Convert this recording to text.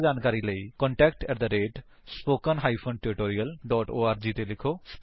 ਜਿਆਦਾ ਜਾਣਕਾਰੀ ਲਈ ਕੰਟੈਕਟ ਏਟੀ spoken tutorialਓਰਗ ਉੱਤੇ ਲਿਖੋ